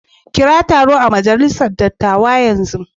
Kira taro a majalisar dattawa yanzu.